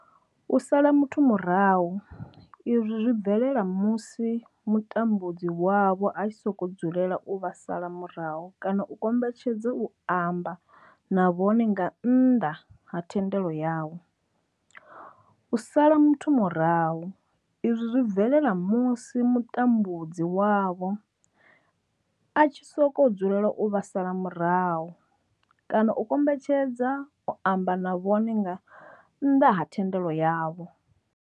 U sala muthu murahu izwi zwi bvelela musi mutambudzi wavho a tshi sokou dzulela u vha sala murahu kana a kombetshedza u amba na vhone nga nnḓa ha thendelo yavho. U sala muthu murahu izwi zwi bvelela musi mutambudzi wavho a tshi sokou dzulela u vha sala murahu kana a kombetshedza u amba na vhone nga nnḓa ha thendelo yavho.